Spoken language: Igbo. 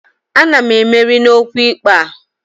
Ana m emeri n'okwu ikpe a